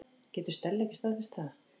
Getur Stella ekki staðfest það?